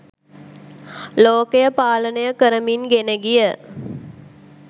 ලෝකය පාලනය කරමින් ගෙන ගිය